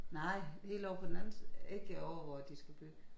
Nej helt ovre på den anden side ikke ovre hvor de skal bygge